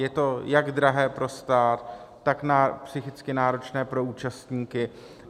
Je to jak drahé pro stát, tak psychicky náročné pro účastníky.